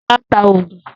Sọlá ń ta oògùn